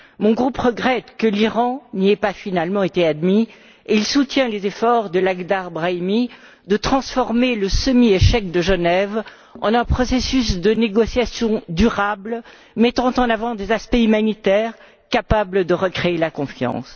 Mon groupe regrette que l'Iran n'y ait finalement pas été admis et il soutient les efforts de Lakhdar Brahimi de transformer le semi échec de Genève en un processus de négociation durable, mettant en avant des aspects humanitaires capables de recréer la confiance.